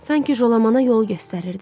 Sanki Jolamana yol göstərirdi.